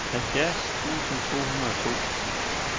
halvfjerds tusind to hundrede og to